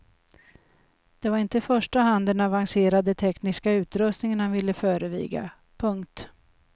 Det var inte i första hand den avancerade tekniska utrustningen han ville föreviga. punkt